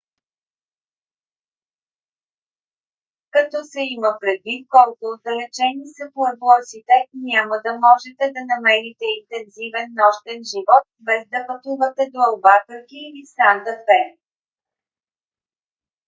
като се има предвид колко отдалечени са пуеблосите няма да можете да намерите интензивен нощен живот без да пътувате до албакърки или санта фе